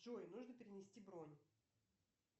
джой нужно перенести бронь